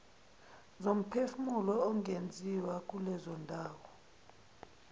zomphefumulo ingenziwa kulezondawo